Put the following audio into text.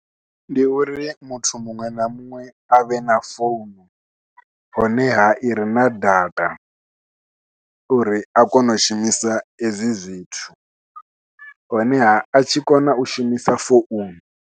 Ndi uri muthu muṅwe na muṅwe a vhe na founu honeha ire na data uri a kone u shumisa ezwi zwithu honeha a tshi kona u shumisa founu.